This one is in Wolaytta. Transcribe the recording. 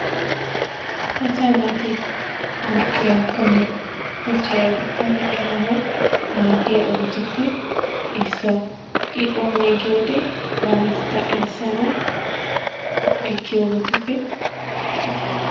Asa naati awuppe yaakkonne kochchay aybbakkonne eranaw maaddiya ogetuppe issuwa, I oone giyoode banatetta erissanawu ekkiyoobatuppe issuwaa.